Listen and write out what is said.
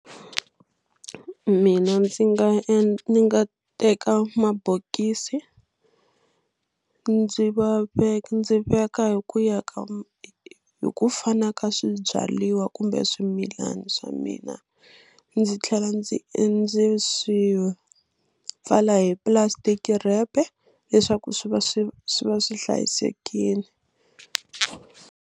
Mina ndzi nga ni nga teka mabokisi ndzi va ve ndzi veka hi ku ya ka hi ku fana ka swibyariwa kumbe swimilana swa mina ndzi tlhela ndzi ndzi swi pfala hi plastic wrap leswaku swi va swi swi va swi hlayisekile.